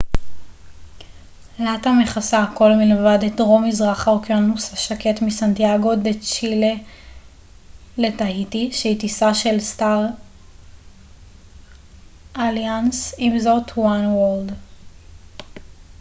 עם זאת star alliance מכסה הכול מלבד את דרום מזרח האוקיינוס השקט מסנטיאגו דה צ'ילה לטהיטי שהיא טיסה של latam oneworld